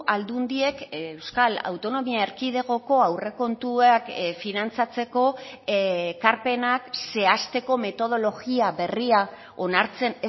aldundiek euskal autonomia erkidegoko aurrekontuak finantzatzeko ekarpenak zehazteko metodologia berria onartzen